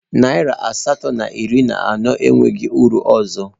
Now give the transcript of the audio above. Naịra asatọ na iri na anọ enweghị uru ọzọ